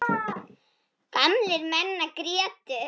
Gamlir menn grétu.